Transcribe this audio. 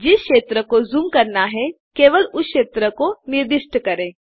जिस क्षेत्र को ज़ूम करना है केवल उस क्षेत्र को निर्दिष्ट करें